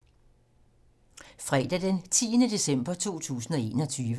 Fredag d. 10. december 2021